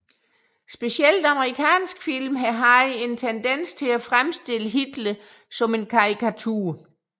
Specielt amerikanske film har haft en tendens til at fremstille Hitler som en karikatur